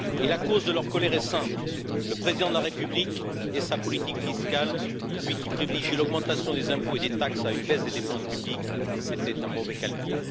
La cause de leur colère est simple le président de la République et sa politique fiscale, lui qui privilégie l'augmentation des impôts et des taxes à une baisse des dépenses publiques, c'était un mauvais calcul.